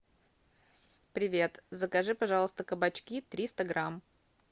привет закажи пожалуйста кабачки триста грамм